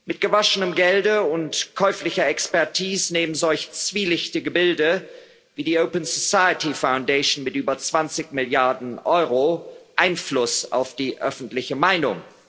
Mit gewaschenem Gelde und käuflicher Expertise nehmen solche zwielichtigen Gebilde wie die Open Society Foundation mit über 20 Milliarden Euro Einfluss auf die öffentliche Meinung.